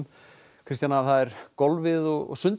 Kristjana það er golfið og sundið